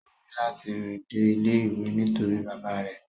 O ni lati rìn dé ilé ìwé nítorí bàbá rẹ̀.